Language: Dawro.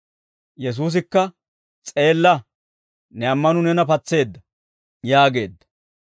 Yesuusikka, «S'eella, ne ammanuu neena patseedda» yaageedda.